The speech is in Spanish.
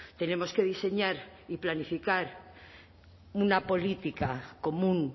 tenemos que diseñar y planificar una política común